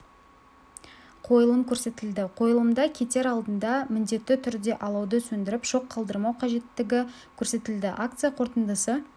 қойылым көрсетілді қойылымда кетер алдында міндетті түрде алауды сөндіріп шоқ қалдырмау қажеттігі көрсетілді акция қорытындысы